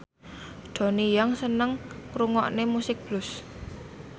Donnie Yan seneng ngrungokne musik blues